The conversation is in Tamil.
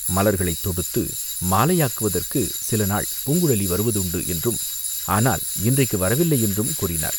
மலர்களைத் தொடுத்து மாலையாக்குவதற்குச் சில நாள் பூங்குழலி வருவதுண்டு என்றும், ஆனால் இன்றைக்கு வரவில்லையென்றும் கூறினார்.